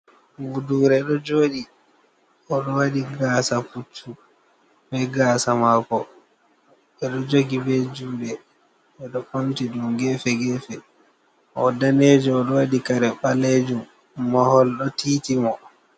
Buudure ɗo jooɗi, o ɗo waɗi gaasa puccu be gaasa maako, ɓe ɗo jogi be juuɗe, ɓe ɗo ɓamti ɗum geefe geefe, o daneejo, o ɗo waɗi kare ɓaleejum, mahol ɗo titi mo.